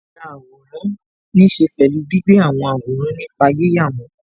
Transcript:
Yíya àwòrán ní ṣe pẹ̀lú gbígbé àwọn àwòrán nípa yíyà wọn